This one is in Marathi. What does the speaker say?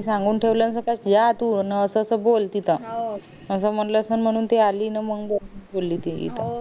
सांगून ठेवलं असेल कसलं कि जा तू अन असं असं बोल तिथं असं बोल असेन म्हणून ती अली अन बोली ती इथं